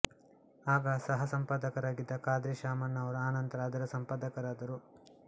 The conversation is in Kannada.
ಆಗ ಸಹ ಸಂಪಾದಕರಾಗಿದ್ದ ಖಾದ್ರಿ ಶಾಮಣ್ಣ ಅವರು ಅನಂತರ ಅದರ ಸಂಪಾದಕರಾದರು